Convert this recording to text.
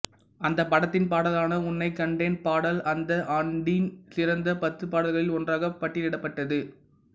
அந்த படத்தின் பாடலான உன்னைக் கண்டேன் பாடல் அந்த ஆண்டின் சிறந்த பத்து பாடல்களில் ஒன்றாக பட்டியலிடப்பட்டது